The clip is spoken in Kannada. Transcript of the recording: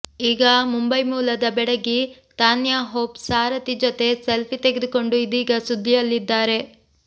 ಈಗ ಮುಂಬೈ ಮೂಲದ ಬೆಡಗಿ ತಾನ್ಯಹೋಪ್ ಸಾರಥಿ ಜೊತೆ ಸೆಲ್ಫಿ ತೆಗೆದುಕೊಂಡು ಇದೀಗ ಸುದ್ದಿಯಲ್ಲಿದ್ದಾರೆ